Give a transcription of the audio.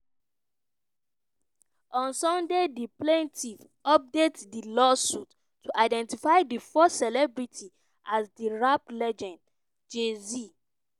on sunday di plaintiff update di lawsuit to identity di first celebrity as di rap legend jay-z.